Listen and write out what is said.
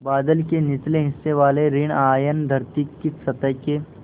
बादल के निचले हिस्से वाले ॠण आयन धरती की सतह के